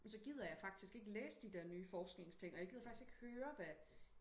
men så gider jeg faktisk ikke læse de der nye forskningsting og jeg gider faktisk ikke høre hvad